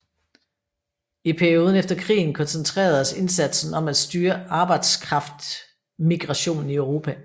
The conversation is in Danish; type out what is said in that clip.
I perioden efter krigen koncentreredes indsatsen om at styre arbejdskraftmigrationen i Europa